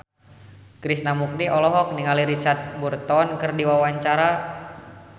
Krishna Mukti olohok ningali Richard Burton keur diwawancara